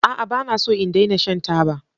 A'a! Ba na so in daina shan taba.